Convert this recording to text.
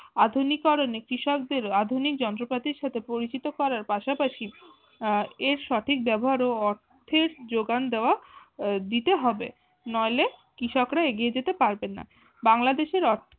আধুনিকরনে কৃষকদের আধুনিক যন্ত্রপাতির সাথে পরিচিত করার পাশাপাশি আহ এর সঠিক ব্যবহার ও এর অর্থের যোগান দেওয়া দিতে হবে নইলে কৃষকরা এগিয়ে যেতে পারবেন না। বাংলাদেশের অর্থ